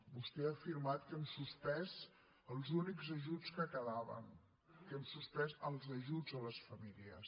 vostè ha afirmat que hem suspès els únics ajuts que quedaven que hem suspès els ajuts a les famílies